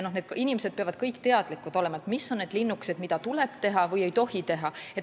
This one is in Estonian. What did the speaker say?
Need inimesed peavad kõik teadlikud olema, mis on need linnukesed, mida tuleb teha, ja mis on need linnukesed, mida ei tohi teha.